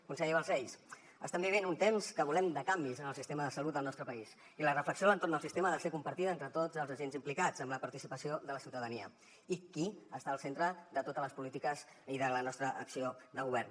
conseller balcells estem vivint un temps que volem de canvis en el sistema de salut del nostre país i la reflexió a l’entorn del sistema ha de ser compartida entre tots els agents implicats amb la participació de la ciutadania i qui està al centre de totes les polítiques i de la nostra acció de govern